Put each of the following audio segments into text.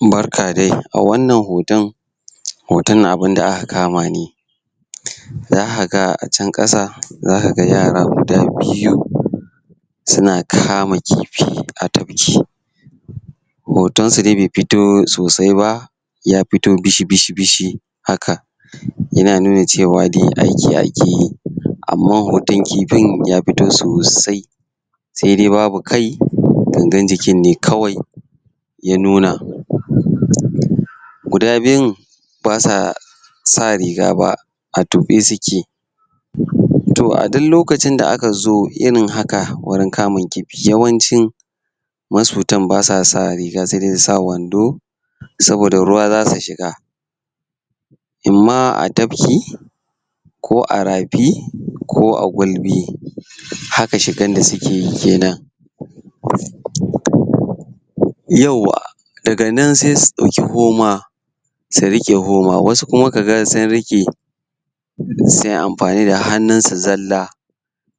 Barka dai a wannan hoton hoton abun da aka kama ne za ka ga a can ƙasa za ka ga yara guda biyu suna kama kifi a tafki hotonsu dai bai fito sasai ba, ya fito bishi-bishi-bishi haka yana nuna cewa dai aiki aka. Amma hoton kifin ya fito sosai saidai babu kai, gangar jikin ne kawai. ya nuna guda biyun ba sa sa riga ba, a tuɓe suke to a duk lokacin da aka zo irin haka wajen kama kifi yawancin masuntan ba sa sa riga sai dai su sa wando, saboda ruwa za su shiga in am atabki ko a rafi ko a gulbi haka shigan da suke ke nan yauwa daga nan sai su ɗauki homa su riƙe homa wasu kuma ka ga sun riƙe su yi amfani da hannunsu zalla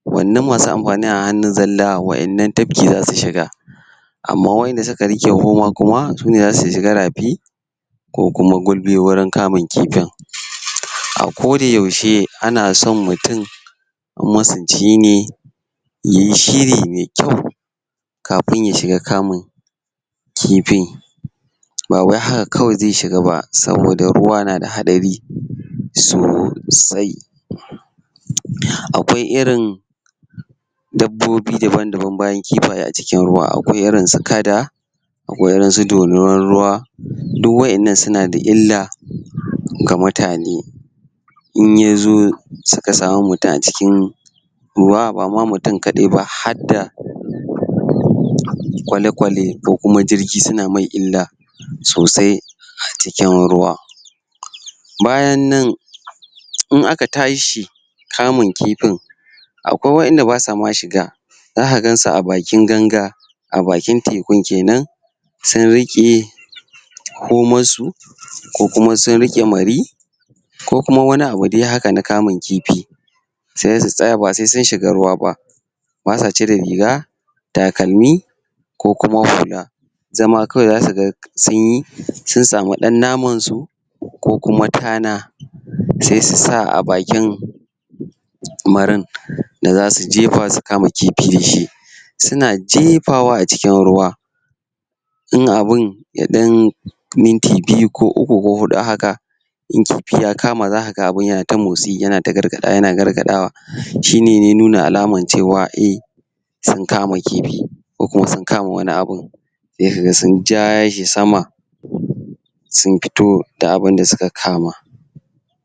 wannan ma su amfani da hannu zalla wannan tafki za su shiga amma waɗanda suka riƙe homa su ne za su shiga rafi ko kuma gulbi wajen kamun kifin. A kodayaushe ana so mutum in masunci ne ya yi shiri mai kyau kafin ya shiga kamun kifi ba wai haka kawai zai shiga ba saboda ruwa na da hatsari sosai Akwai irin dabbobi dabam-daban bayan kifaye a cikin ruwa. Akwai irinsu kada Akwai irnsu dorinar ruwa, duk waɗannan suna da illa ga mutane in ya zo suka samu mutum a cikin ruwa ba ma mutum kaɗai ba hadda kwale-kwale ko kuma jirgi suna mai illa sosai a cikin ruwa bayan nan in aka tashi kamun kifin Akwai waɗanda ba sa ma shiga, za ka gan su a bakin ganga a bakin tekun ke nan sun riƙe komarsu ko kuma sun riƙe mari ko kuma dai wani abu haka na kamun kifi sai su tsaya ba sai sun shiga ruwa ba. ba sa cire riga takalmi ko kuma hula zama kawai za ka ga sun yi sun samu ɗan namansu ko kuma tana sai su sa a bakin marin da za su jefa su kama kifi da shi. suna jefawa acikin ruwa in abun ya ɗan yi minti biyu ko uku ko huɗu haka in kifi ya kam, za ka ga abun yana ta motsi yana gargaɗawa shi ne ke nuna alaman cewa e sun kama kifi ko kuma sun kama wani a bun sai ka ga sun ja shi sama sun fito da abun da suka kama.